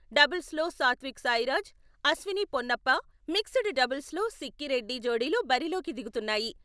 డబుల్స్లో Satwik Sairaj, Ashwini Ponnappa, mixed డబుల్స్లో సిక్కీ రెడ్డి జోడీలు బరిలోకి దిగుతున్నాయి.